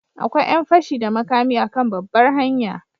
Akwai yan fashi da makami a kan babbar hanya.